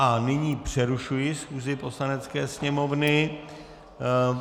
A nyní přerušuji schůzi Poslanecké sněmovny.